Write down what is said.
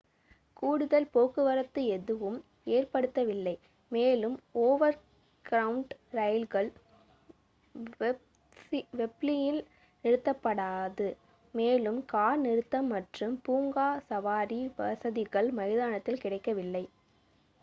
கூடுதல் போக்குவரத்து எதுவும் ஏற்படுத்தப்படவில்லை மேலும் ஓவர்க்ரவுண்ட் ரயில்கள் வெம்ப்லியில் நிறுத்தப்படாது மேலும் கார் நிறுத்தம் மற்றும் பூங்கா-சவாரி வசதிகள் மைதானத்தில் கிடைக்கவில்லை